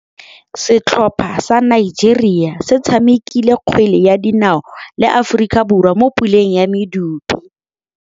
Setlhopha sa Nigeria se tshamekile kgwele ya dinaô le Aforika Borwa mo puleng ya medupe.